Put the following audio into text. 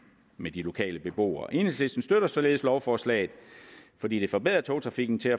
med de lokale beboere enhedslisten støtter således lovforslaget fordi det forbedrer togtrafikken til